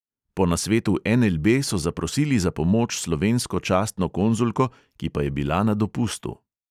Po nasvetu NLB so zaprosili za pomoč slovensko častno konzulko, ki pa je bila na dopustu.